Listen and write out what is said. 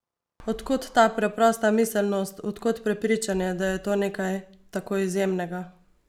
Od kod ta preprosta miselnost, od kod prepričanje, da je to nekaj tako izjemnega?